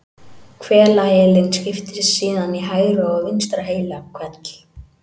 Hvelaheilinn skiptist síðan í hægra og vinstra heilahvel.